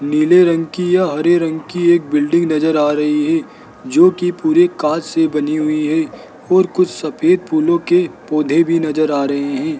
नीले रंग की या हरे रंग की एक बिल्डिंग नजर आ रही है जोकि पूरे कांच से बनी हुई है और कुछ सफेद फूलों के पौधे भी नजर आ रहे हैं।